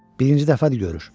Birinci dəfədir görür.